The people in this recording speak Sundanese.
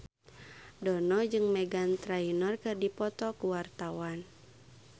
Dono jeung Meghan Trainor keur dipoto ku wartawan